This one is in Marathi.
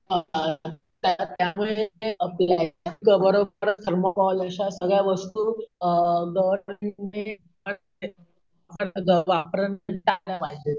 थर्माकोल अशा सगळ्या वस्तू अम पाहिजेत.